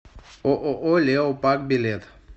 ооо леопак билет